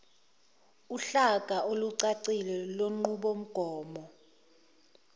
uhlaka olucacile lwenqubomgomo